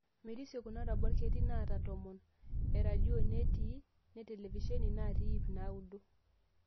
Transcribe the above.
Merisio kuna rubat, ketii naata tomon, eradio neeti ne televishen naata ip naudo.